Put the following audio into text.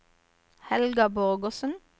Helga Borgersen